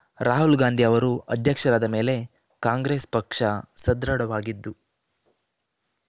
ರಾಹುಲ್ ಗಾಂಧಿ ಅವರು ಅಧ್ಯಕ್ಷರಾದ ಮೇಲೆ ಕಾಂಗ್ರಸ್ ಪಕ್ಷ ಸದೃಢವಾಗಿದ್ದು